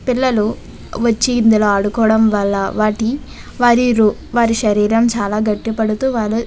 పిల్లలు వచ్చి ఇందులో ఆడుకోవడం వల్ల వారి శరీరం చాలా గట్టి పడుతూ --